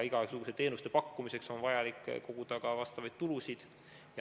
Igasuguse teenuse pakkumiseks on vaja koguda ka tulusid.